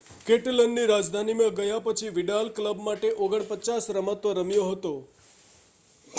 કેટાલનની રાજધાનીમાં ગયા પછી વિડાલ ક્લબ માટે 49 રમતો રમ્યો હતા